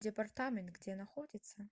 департамент где находится